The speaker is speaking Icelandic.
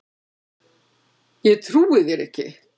Ég trúi þér ekki